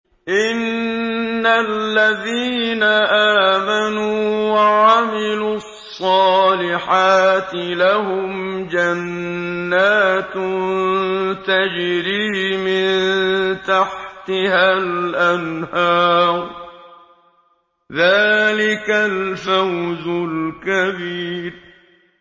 إِنَّ الَّذِينَ آمَنُوا وَعَمِلُوا الصَّالِحَاتِ لَهُمْ جَنَّاتٌ تَجْرِي مِن تَحْتِهَا الْأَنْهَارُ ۚ ذَٰلِكَ الْفَوْزُ الْكَبِيرُ